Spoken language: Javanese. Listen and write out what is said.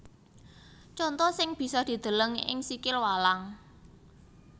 Conto sing bisa dideleng ing sikil walang